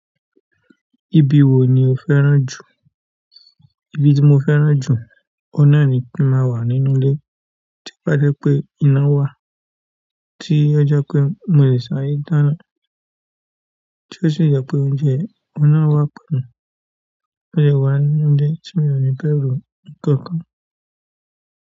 Ibi wo ni o fẹ́ràn jù? Oun tí mo fẹ́ràn jù, òun náà ni kí n máa wà nínú ilé, tí ó bá jẹ́ pé iná wà, tí ó jẹ́ pé mo lè sáré dáná, tí ó sì jẹ́ pé oúnjẹ òun náà wà pẹ̀lú mi, mo lè wà nínú ilé, tí mi ò ní bẹ̀rù nǹkan kan.